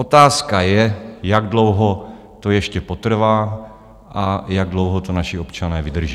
Otázka je, jak dlouho to ještě potrvá a jak dlouho to naši občané vydrží.